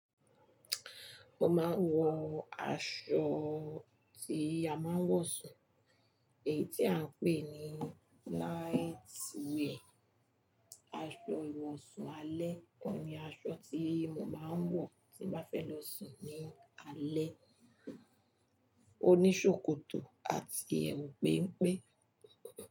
Mo máa ń wọ aṣọ tí a máa ń wọ̀ sùn, èyí tí à ń pè ní light weight. Aṣọ ìwọ̀sún alẹ́ kan ni aṣọ tí mo máa ń wọ̀ tí mo bá fẹ́ lọ sùn ní alẹ́. Ó ní ṣòkòtò àti ẹ̀wù péńpé.